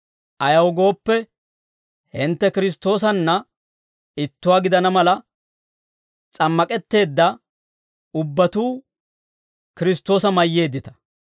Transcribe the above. Ayaw gooppe, hintte Kiristtoosanna ittuwaa gidana mala s'ammak'etteedda ubbatuu Kiristtoosa mayyeeddita.